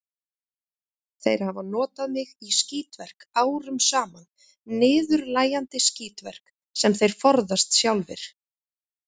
Þeir hafa notað mig í skítverk árum saman, niðurlægjandi skítverk, sem þeir forðast sjálfir.